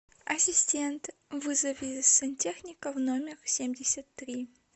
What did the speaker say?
ассистент вызови сантехника в номер семьдесят три